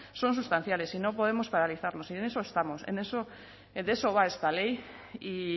son sustanciales y no podemos paralizarlo y en eso estamos en eso de eso va esta ley y